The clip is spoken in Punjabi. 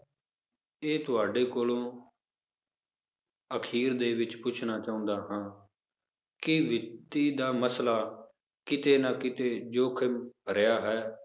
ਇਹ ਤੁਹਾਡੇ ਕੋਲੋਂ ਅਖ਼ੀਰ ਦੇ ਵਿੱਚ ਪੁੱਛਣਾ ਚਾਹੁੰਦਾ ਹਾਂ ਕਿ ਵਿੱਤੀ ਦਾ ਮਸਲਾ ਕਿਤੇ ਨਾ ਕਿਤੇੇ ਜੋਖ਼ਿਮ ਭਰਿਆ ਹੈ